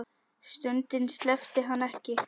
Sundinu sleppti hann ekki.